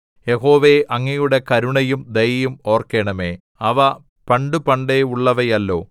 യഹോവേ അങ്ങയുടെ കരുണയും ദയയും ഓർക്കണമേ അവ പണ്ടുപണ്ടേയുള്ളവയല്ലോ